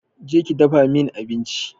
Je ki dafa min abinci